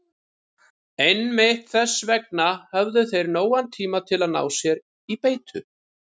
Einmitt þess vegna höfðu þeir nógan tíma til að ná sér í beitu.